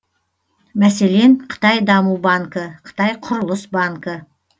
мәселен қытай даму банкі қытай құрылыс банкі